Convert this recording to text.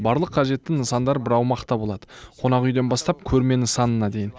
барлық қажетті нысандар бір аумақта болады қонақ үйден бастап көрме нысанына дейн